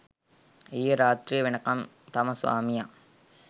ඊයේ රාත්‍රිය වෙනකම් තම ස්වාමියා